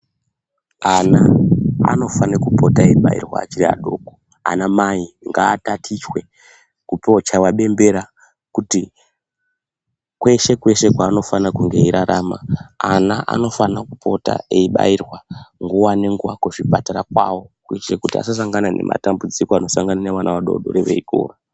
Ana anofane kupota eibairwa achiri adoko. Anamai ngatatichwe, kutochaiwa bembera kuti kweshe kweshe kwaanofana kunge eirarama ana anofana kupota eibairwa nguwa nenguwa kuzvipatara kwawo kuitire kuti asasangana nematambudziko anosangana nevana vadodori veikura.